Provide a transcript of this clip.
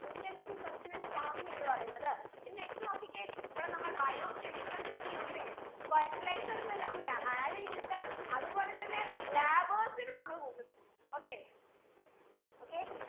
intensive substenance farming എന്ന് പറയുന്നത് ഇനി next നോക്കിക്കെ ഇവിടെ നമ്മൾ bio chemicals ഒക്കെ use എയ്യും fertilisers എല്ലാം ya add എയ്യുന്നുണ്ട് അത്പോലെ തന്നെ labours നെ നമ്മൾ കൂട്ടൂന്നുണ്ട് okay okay